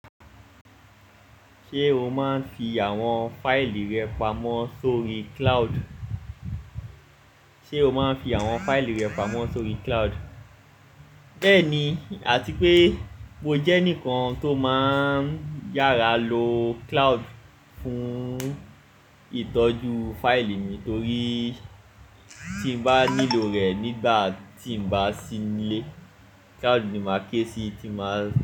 Ṣé o máa ń fi àwọn fáìlì rẹ pamọ́ sórí cloud? Béèni, àti pé mo jẹ́ ẹnìkan tó máa ń yára lo cloud fún ìtọ́jú fáìlì mi torí tí n bá nílò rẹ̀ nígbà tí n bá sí nílé, cloud ni màá ké sí tí màá.